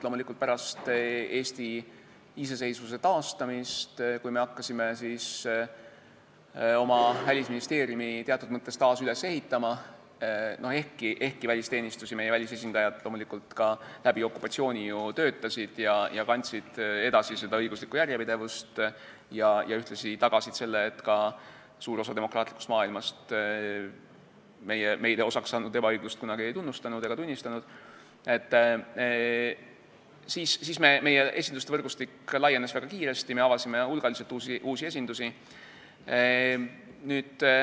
Loomulikult, pärast Eesti iseseisvuse taastamist, kui me hakkasime Välisministeeriumi teatud mõttes taas üles ehitama – ehkki välisteenistus ja välisesindajad loomulikult ka läbi okupatsiooniaja ju töötasid ja kandsid edasi õiguslikku järjepidevust, ühtlasi tagasid selle, et suur osa demokraatlikust maailmast meile osaks saanud ebaõiglust kunagi ei tunnustanud ega tunnistanud –, siis meie esinduste võrgustik laienes väga kiiresti, me avasime hulgaliselt uusi esindusi.